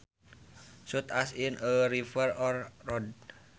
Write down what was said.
Such as in a river or road